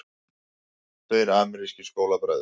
Tveir amerískir skólabræður